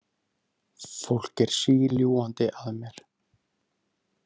Fólk er síljúgandi að mér.